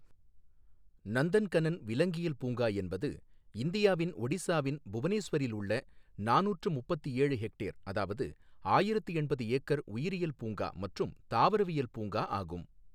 நந்தன்கனன் விலங்கியல் பூங்கா என்பது இந்தியாவின் ஒடிசாவின் புவனேஸ்வரில் உள்ள நானூற்று முப்பத்து ஏழு ஹெக்டேர் அதாவது ஆயிரத்து எண்பது ஏக்கர் உயிரியல் பூங்கா மற்றும் தாவரவியல் பூங்கா ஆகும்.